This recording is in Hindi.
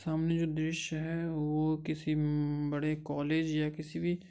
सामने जो दृस्य है वो किसी उम्म्म्ब-बड़े कॉलेज या किसी भी --